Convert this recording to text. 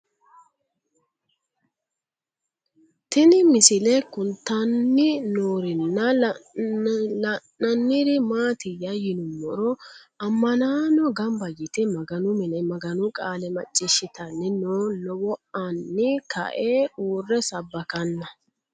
Tinni misile kulittanni noorrinna la'nanniri maattiya yinummoro amannaanno gannibba yiitte maganu minne maganu qaale maciishshittanni noo lowo aanni kae uure sabbakkanna